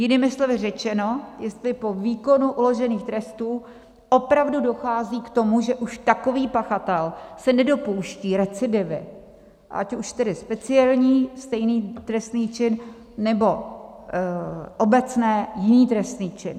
Jinými slovy řečeno, jestli po výkonu uložených trestů opravdu dochází k tomu, že už takový pachatel se nedopouští recidivy, ať už tedy speciální, stejný trestný čin, nebo obecné, jiný trestný čin.